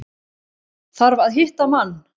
Þarf að hitta mann.